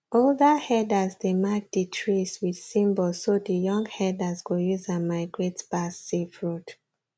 older herders dey mark the trees with symbols so the young herders go use am migrate pass safe road